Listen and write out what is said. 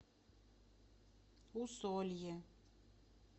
усолье